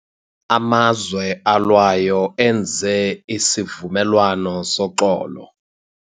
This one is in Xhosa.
Amazwe alwayo enze isivumelwano soxolo.